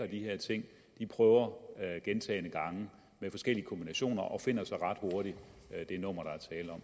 de her ting prøver gentagne gange med forskellige kombinationer og finder så ret hurtigt det nummer